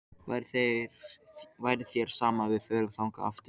Væri þér sama ef við förum þangað aftur?-